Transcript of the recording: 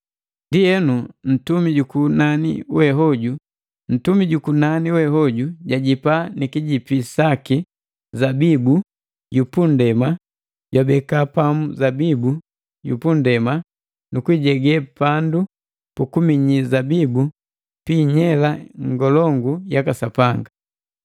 Ndienu, ntumi ju kunani we hoju jajipa ni kijipi saki zabibu yu pu nndema jwabeka pamu zabibu yu nndema, nu kuijege pandu pukuminyi zabibu pi inyela ngolongu yaka Sapanga.